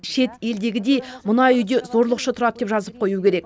шет елдегідей мына үйде зорлықшы тұрады деп жазып қою керек